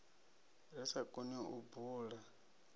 ri sa koni u bula